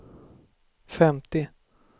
femtio